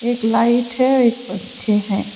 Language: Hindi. एक लाइट है एक पंखे हैं।